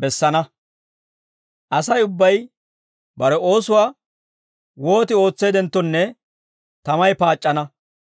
bessana. Asay ubbay bare oosuwaa wooti ootseeddenttonne tamay paac'c'ana.